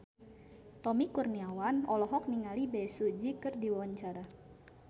Tommy Kurniawan olohok ningali Bae Su Ji keur diwawancara